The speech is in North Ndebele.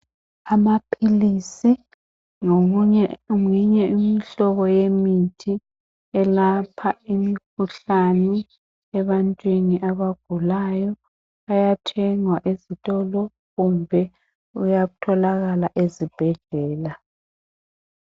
Amaphilisi ngeyinye imihlobo yemithi elapha imikhuhlane ebantwini abagulayo. Ayathengwa ezitolo kumbe ayathokala ezibhedlela.